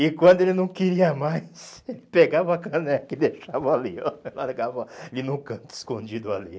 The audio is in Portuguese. E quando ele não queria mais, ele pegava a caneca e deixava ali, ó. Largava ali num canto escondido ali.